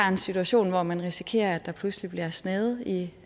en situation hvor man risikerer at der pludselig bliver snaget i